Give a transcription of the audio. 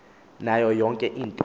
nayo yonke into